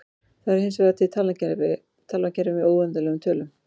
Það eru hinsvegar til talnakerfi með óendanlegum tölum.